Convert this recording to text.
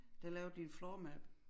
Der lavede de et floor map